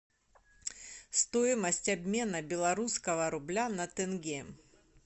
стоимость обмена белорусского рубля на тенге